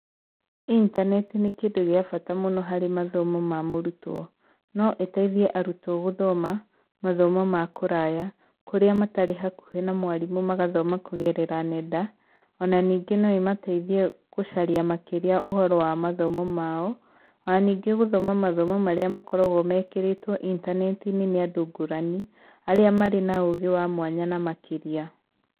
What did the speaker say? Intaneti nῖ kῖndῦ gῖa bata mῦno harῖ mathomo ma mῦrutwo. No ῖteithie arutwo gῦthoma mathomo ma kῦraya, kῦrῖa matarῖ hakuhῖ na mwarimῦ magathoma kῦgerera nenda, ona ningῖ no ῖmateithie gῦcaria makῖria ῦhoro wa mathomo mao, ona ningῖ gῦthoma mathomo marῖa makoragwo mekῖrῖtwo intaneti-inῖ nῖ andῦ ngῦrani arῖa marῖ na ῦgῖ wa mwanya na makῖria.